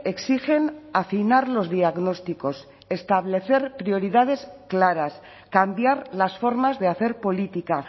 exigen afinar los diagnósticos establecer prioridades claras cambiar las formas de hacer política